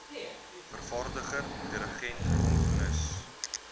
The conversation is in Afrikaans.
vervaardiger dirigent komponis